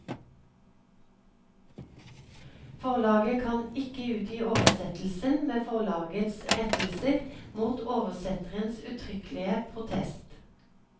Forlaget kan ikke utgi oversettelsen med forlagets rettelser mot oversetterens uttrykkelige protest.